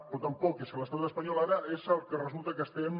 però tampoc és que l’estat espanyol ara és el que resulta que estem